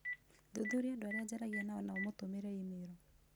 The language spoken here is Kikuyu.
Thuthuria andũ arĩa njaragia nao na ũmũtũmĩre e-mail